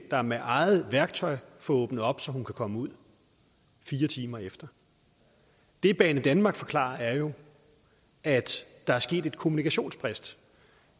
der med eget værktøj får åbnet op så hun kan komme ud fire timer efter det banedanmark forklarer er jo at der er sket et kommunikationsbrist